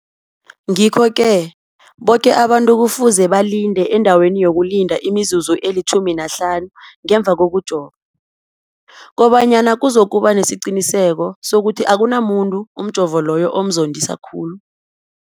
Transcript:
Ngikho-ke boke abantu kufuze balinde endaweni yokulinda imizuzu eli-15 ngemva kokujova, koba nyana kuzokuba nesiqiniseko sokuthi akunamuntu umjovo loyo omzondisa khulu.